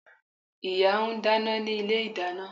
Ìyá ń dáná ní ilé-ìdáná